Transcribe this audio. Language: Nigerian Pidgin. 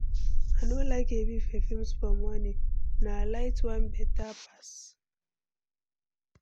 I no like heavy perfume for morning, na light one beta pass.